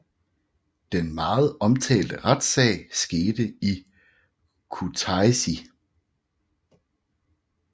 Den meget omtalte retssag skete i Kutaisi